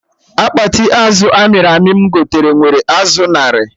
Akpati azụ amịrị amị m gote nwere azụ narị